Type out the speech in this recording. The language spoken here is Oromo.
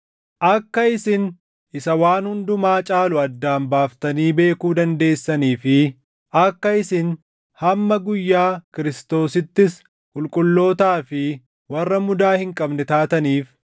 akka isin isa waan hundumaa caalu addaan baaftanii beekuu dandeessanii fi akka isin hamma guyyaa Kiristoosittis qulqullootaa fi warra mudaa hin qabne taataniif,